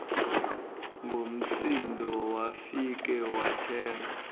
ngomsindo wafike wathenga